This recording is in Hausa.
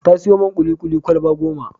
Ta sayo man kuli-kuli kwalaba goma.